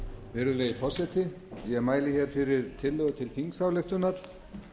virðulegi forseti ég mæli hér fyrir tillögu til þingsályktunar